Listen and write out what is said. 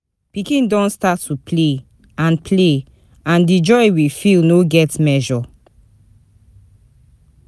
Pikin don start to play, and play, and di joy we feel no get measure.